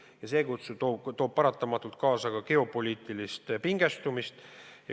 Ja see toob paratamatult kaasa geopoliitilist pingestumist.